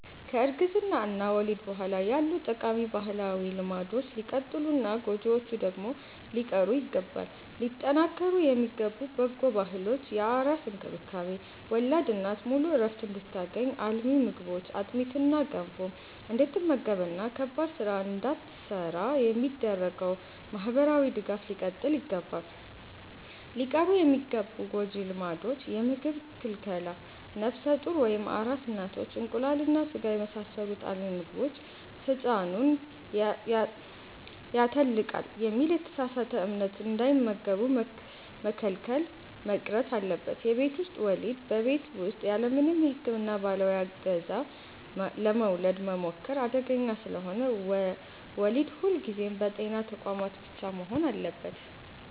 ከእርግዝና እና ወሊድ በኋላ ያሉ ጠቃሚ ባህላዊ ልማዶች ሊቀጥሉና ጎጂዎቹ ደግሞ ሊቀሩ ይገባል። ሊጠናከሩ የሚገቡ በጎ ባህሎች፦ የአራስ እንክብካቤ፦ ወላድ እናት ሙሉ ዕረፍት እንድታገኝ፣ አልሚ ምግቦችን (አጥሚትና ገንፎ) እንድትመገብና ከባድ ሥራ እንዳትሠራ የሚደረገው ማኅበራዊ ድጋፍ ሊቀጥል ይገባል። ሊቀሩ የሚገቡ ጎጂ ልማዶች፦ የምግብ ክልከላ፦ ነፍሰ ጡር ወይም አራስ እናቶች እንቁላልና ሥጋን የመሳሰሉ አልሚ ምግቦችን «ሕፃኑን ያተልቃል» በሚል የተሳሳተ እምነት እንዳይመገቡ መከልከል መቅረት አለበት። የቤት ውስጥ ወሊድ፦ በቤት ውስጥ ያለምንም የሕክምና ባለሙያ ዕገዛ ለመውለድ መሞከር አደገኛ ስለሆነ፣ ወሊድ ሁልጊዜም በጤና ተቋማት ብቻ መሆን አለበት።